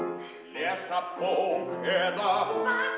lesa bók eða